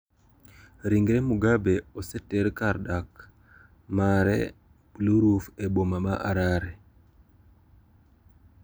Ringre Mugabe oseter kar dak mare "Blue Roof" e boma ma Harare.